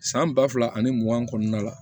San ba fila ani mugan kɔnɔna la